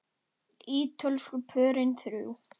Ítölsku pörin þrjú.